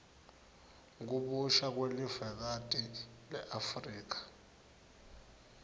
kabusha kwelivekati leafrika